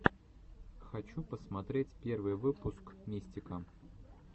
хочу посмотреть первый выпуск мистика